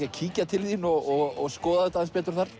að kíkja til þín og skoða þetta aðeins betur þar